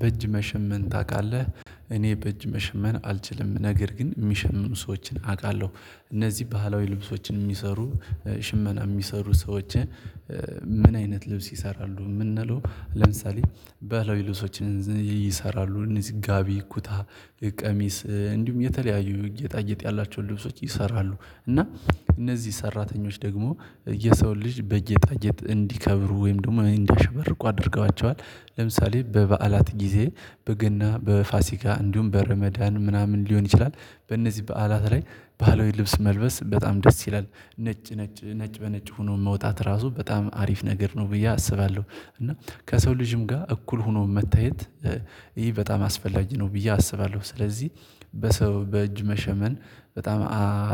በእጅ መሸመን ታውቃለህ? እኔ በእጅ መሸመን አልችልም ነገር ግን የሚሸምኑ ሰዎችን አውቃለሁ እነዚህ ባህላዊ ልብሶችን የሚሰሩ ሽመና የሚሰሩ ሰዎችን? ምን አይነት ልብስ ይሰራሉ የምንለው ለምሳሌ ባህላዊ ልብሶችን ይሰራሉ እነዚህ ጋቢ ኩታ ቀሚስ እንዲሁም የተለያዩ ጌጣጌጥ ያላቸውን ልብሶች ይሰራሉ። እና እነዚህ ሰራተኞች ደግሞ የሰው ልጅ በጌጣጌጥ እንዲከብሩ ወይም ደግሞ እንዲያሸበርቁ አድርገዋቸዋል ለምሳሌ በበዓላት ጊዜ በገና በፋሲካ እንዲሁም በረመዳን ምናምን ሊሆን ይችላል። በእነዚህ በዓላት ላይ ባህላዊ ልብስ መልበስ በጣም ደስ ይላል። ነጭ ነጭ ነጭ በነጭ ሆኖ መውጣት ራሱ በጣም አሪፍ ነገር ነው ብዬ አስባለሁ። እና ከሰው ልጅም ጋር እኩል ሆኖ መታየት ይህ በጣም አስፈላጊ ነው ብዬ አስባለሁ። ስለዚህ በሰው በእጅ መሸመን በጣም